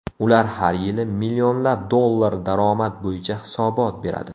Ular har yili millionlab dollar daromad bo‘yicha hisobot beradi.